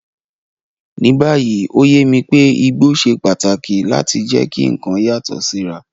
Ní báyìí, ó yé mi pé igbó ṣe pàtàkì láti jẹ́ kí nǹkan yàtọ̀ síra.